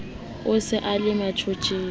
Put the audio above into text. o se o le motjheng